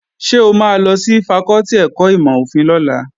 Ṣé o máa lọ sí fakọ́tì ẹ̀kọ́ ìmọ̀-òfin lọ́la?